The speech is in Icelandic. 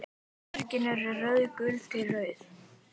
Berin eru rauðgul til rauð.